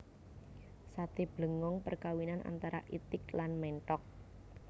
Sate blengong perkawinan antara itik lan menthok